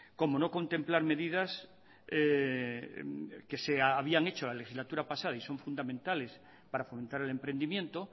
como no contemplar medidas que se habían hecho la legislatura pasada y son fundamentales para fomentar el emprendimiento